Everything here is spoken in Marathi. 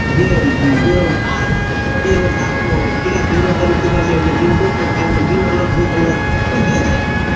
बे बेरोजगार. बरोजगार, ठीकेय? बेरोजगारी खूप वाढली म्हणते. बिनडोक पोट्टा आहे म्हणते. बिन डोक त हे जे हाये.